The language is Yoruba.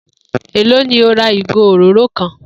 Èló ni o ra ìgò òróró kan?